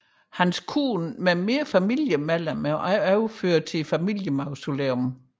Hans hustru med flere familiemedlemmer er også overført til familiemausoleet